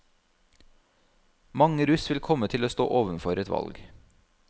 Mange russ vil komme til å stå overfor et valg.